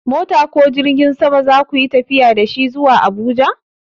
Mota ko jirgin sama za ku yi tafiya da shi zuwa Abuja?